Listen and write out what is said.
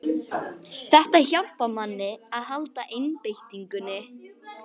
Þetta hjálpar manni að halda einbeitingunni